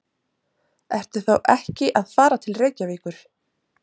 Ertu þá ekki að fara til Reykjavíkur?